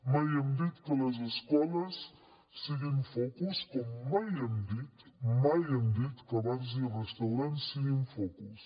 mai hem dit que les escoles siguin focus com mai hem dit mai hem dit que bars i restaurants siguin focus